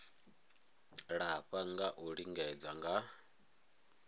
lafha ha u lingedza nga